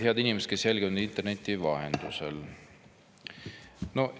Head inimesed, kes te jälgite meid interneti vahendusel!